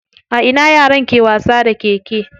A ina yaran ke wasa da keke?